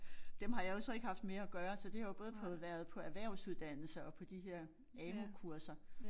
Dem har jeg jo så ikke haft med at gøre så det har jo både på været på erhvervsuddannelser og på de her AMU kurser